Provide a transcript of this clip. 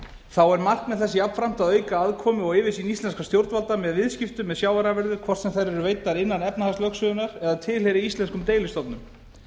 þá er markmið þess jafnframt að auka aðkomu og yfirsýn íslenskra stjórnvalda með viðskiptum með sjávarafurðir hvort sem þær eru veiddar innan efnahagslögsögunnar eða tilheyri íslenskum deilistofnum